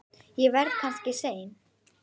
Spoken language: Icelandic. Ég verð kannski seinn.